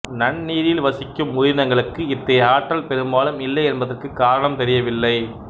நன்னீரில் வசிக்கும் உயிரினங்களுக்கு இத்தகைய ஆற்றல் பெரும்பாலும் இல்லை என்பதற்குக் காரணம் தெரியவில்லை